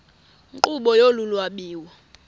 nkqubo yolu lwabiwo